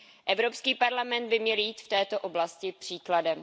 Evropský parlament by měl jít v této oblasti příkladem.